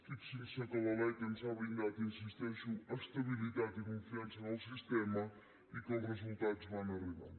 fixin se que la lec ens ha brindat hi insisteixo estabilitat i confiança en el sistema i que els resultats van arribant